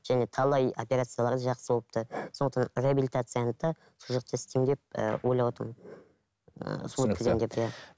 және талай операциялары да жақсы болыпты сондықтан реабилитацияны да сол жақта істеймін деп ііі ойлап отырмын ыыы